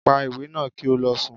Pa iwe naa ki o lọ sùn!